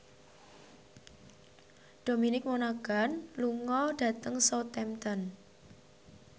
Dominic Monaghan lunga dhateng Southampton